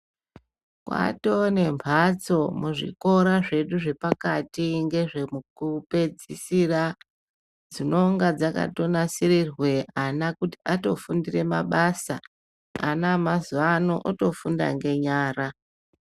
Kwatoo nemhatso muzvikora zvedu zvepakati kupedzisira dzinonga dzakanasirirwa ana kuti atofundira mabasa. Ana emazuwa ano otofunda ngenyara.